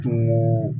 To